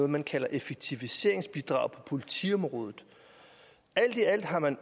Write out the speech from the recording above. man kalder et effektiviseringbidrag på politiområdet alt i alt har man